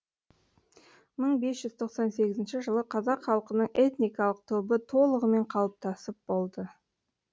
мың бес жүз тоқсан сегізінші жылы қазақ халқының этникалық тобы толығымен қалыптасып болды